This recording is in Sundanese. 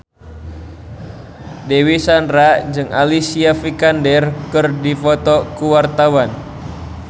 Dewi Sandra jeung Alicia Vikander keur dipoto ku wartawan